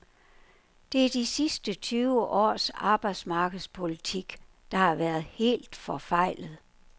Det er de sidste tyve års arbejdsmarkedspolitik, der har været helt forfejlet.